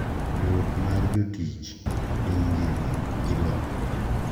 Riwruok mar jotich piny ngima ILO,